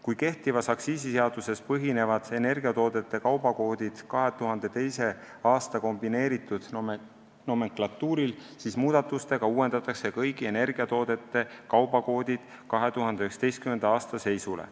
Kui kehtivas aktsiisiseaduses põhinevad energiatoodete kaubakoodid 2002. aasta kombineeritud nomenklatuuril, siis muudatustega uuendatakse kõigi energiatoodete kaubakoodid 2019. aasta seisule.